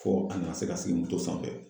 Fɔ a nana se ka sigi sanfɛ.